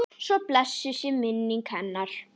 Svo blessuð sé minning hennar.